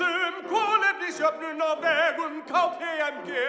um kolefnisjöfnun á vegum k p m g